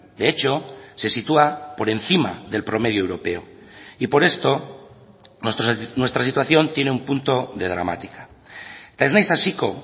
de hecho se sitúa por encima del promedio europeo y por esto nuestra situación tiene un punto de dramática eta ez naiz hasiko